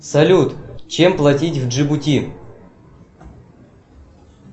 салют чем платить в джибути